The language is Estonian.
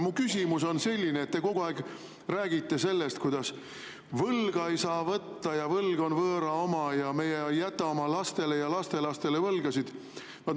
Mu küsimus on selline, et te kogu aeg räägite sellest, kuidas võlga ei saa võtta ja võlg on võõra oma ja meie ei jäta oma lastele ja lastelastele võlgasid.